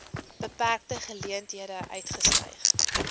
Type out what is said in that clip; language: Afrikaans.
beperkte geleenthede uitgestyg